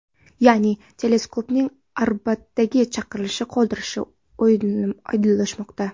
Ya’ni teleskopning orbitaga chiqarilishi qoldirilishi oydinlashmoqda.